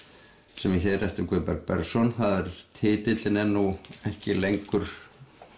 sem er hér eftir Guðberg Bergsson titillinn er nú ekki lengur